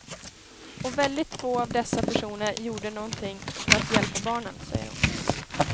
Och väldigt få av dessa personer gjorde någonting för att hjälpa barnen, säger hon.